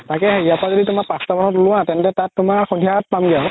তাকেই ইয়াৰ পৰা যদি তুমাৰ পাচতা মানত ওলোৱা তেন্তে তাত তুমাৰ সন্ধিয়া পামগে আৰু